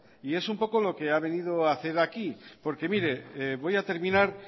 y es un poco lo que ha venido a hacer aquí porque mire voy a terminar